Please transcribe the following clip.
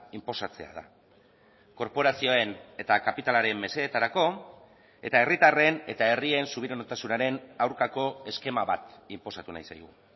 inposatzea da korporazioen eta kapitalaren mesedetarako eta herritarren eta herrien subiranotasunaren aurkako eskema bat inposatu nahi zaigu